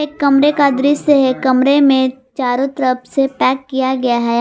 एक कमरे का दृश्य है कमरे में चारों तरफ से पैक किया गया है।